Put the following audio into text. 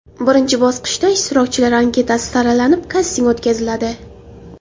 Birinchi bosqichda ishtirokchilar anketasi saralanib, kasting o‘tkaziladi.